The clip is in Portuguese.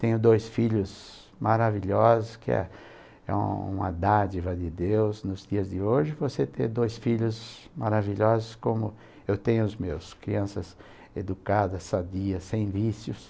Tenho dois filhos maravilhosos, que é é uma dádiva de Deus nos dias de hoje, você ter dois filhos maravilhosos como eu tenho os meus, crianças educadas, sadias, sem vícios.